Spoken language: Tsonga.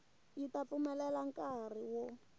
yi ta pfumelela nkari wo